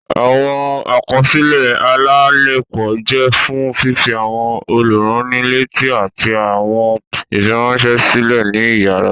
Awọn àkọsílẹ alalepo jẹ fún fifi awọn olurannileti ati awọn ifiranṣẹ silẹ ní iyàrá.